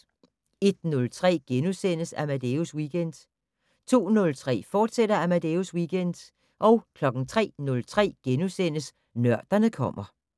01:03: Amadeus Weekend * 02:03: Amadeus Weekend, fortsat 03:03: Nørderne kommer *